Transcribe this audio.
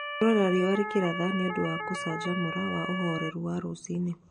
Kũrora riũa rĩkĩratha nĩ ũndũ wa gũcanjamũra wa ũhoreru wa rũcinĩ.